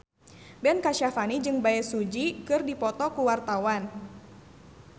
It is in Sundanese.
Ben Kasyafani jeung Bae Su Ji keur dipoto ku wartawan